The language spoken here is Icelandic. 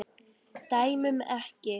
Dæmum ekki.